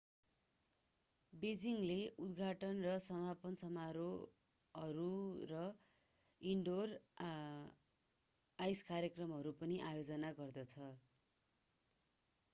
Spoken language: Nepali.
बेइजिङले उद्घाटन र समापन समारोहहरू र इनडोर आइस कार्यक्रमहरूको आयोजना गर्दछ